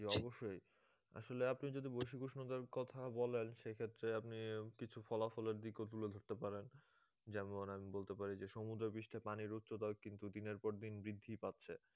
জি অবশ্যই, আসলে আপনি যদি বৈশ্বিক উষ্ণতার কথা বলেন সেক্ষেত্রে আপনি কিছু ফলাফলের দিক তুলে ধরতে পারেন যেমন আমি বলতে পারি যে সমুদ্র পৃষ্ঠে পানির উচ্চতা কিন্তু দিনের পর দিন বৃদ্ধি পাচ্ছে